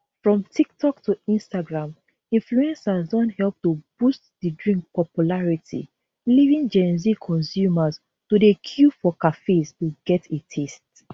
from tiktok to instagram influencers don help to boost di drink popularity leaving gen z consumers to dey queue for cafes to get a taste